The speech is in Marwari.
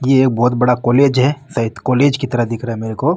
ये एक बहुत बड़ा कॉलेज है सायद कॉलेज की तरह दिख रहा है मेरे को।